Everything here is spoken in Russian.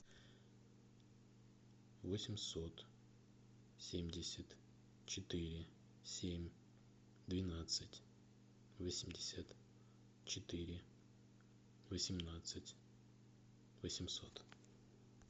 восемьсот семьдесят четыре семь двенадцать восемьдесят четыре восемнадцать восемьсот